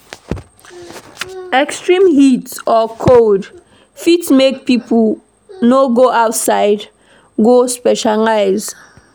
Extreme heat or cold fit make pipo no go outside go socialize